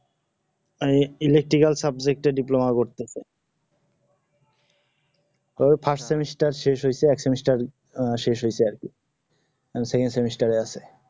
এই electrical subject এ diploma করতেসে কবে first semester শেষ হয়ছে এক semester শেষ হয়েছে আরকি secont semester আছে